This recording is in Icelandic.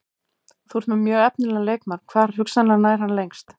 Þú ert með mjög efnilegan leikmann, hvar hugsanlega nær hann lengst?